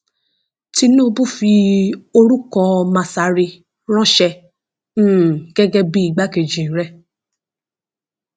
tinúbù fi orúkọ masari ránṣẹ um gẹgẹ bíi igbákejì rẹ